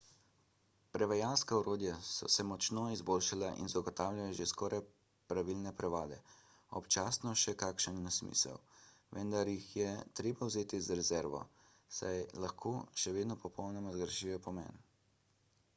prevajalska orodja so se močno izboljšala in zagotavljajo že skoraj pravilne prevode občasno še kakšen nesmisel vendar jih je treba vzeti z rezervo saj lahko še vedno popolnoma zgrešijo pomen